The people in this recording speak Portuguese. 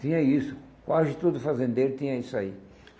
Tinha isso, quase todo fazendeiro tinha isso aí.